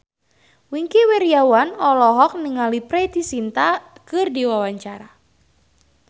Wingky Wiryawan olohok ningali Preity Zinta keur diwawancara